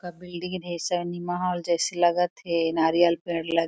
--का बिल्डिंग ढेर cinema hall जैसी लगत थे नारियल पेड़ लगे--